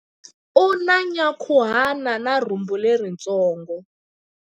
U na nyankhuhana na rhumbu leritsongo.